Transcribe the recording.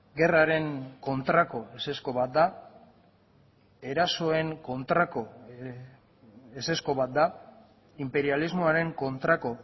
gerraren kontrako ezezko bat da erasoen kontrako ezezko bat da inperialismoaren kontrako